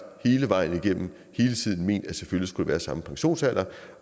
hele vejen igennem hele tiden ment at selvfølgelig skulle der være samme pensionsalder